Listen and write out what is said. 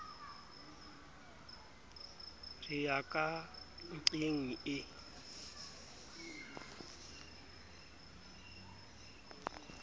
re ya ka nnqeng e